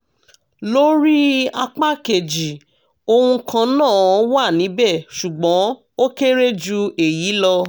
lórí apá kejì ohun kan náà wà níbẹ̀ ṣùgbọ́n ó kéré ju èyí lọ